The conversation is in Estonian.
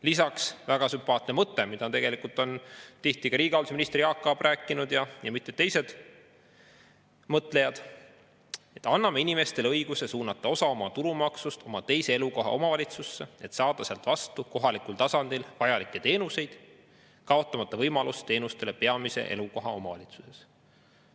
Lisaks väga sümpaatne mõte, millest tihti on rääkinud ka riigihalduse minister Jaak Aab ja mitmed teised mõtlejad: anname inimestele õiguse suunata osa oma tulumaksust oma teise elukoha omavalitsusse, et saada sealt vastu kohalikul tasandil vajalikke teenuseid, kaotamata võimalust teenustele peamise elukoha omavalitsuses.